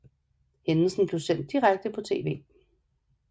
Hændelsen blev sendt direkte på TV